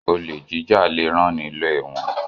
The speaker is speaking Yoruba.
Olè jíjà le rán ni lọ ẹ̀wọ́n.